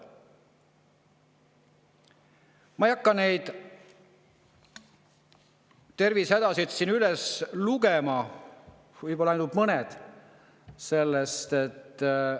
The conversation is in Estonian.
Ma ei hakka kõiki neid tervisehädasid siin üles lugema, ainult mõned.